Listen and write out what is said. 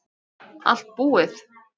Allt búið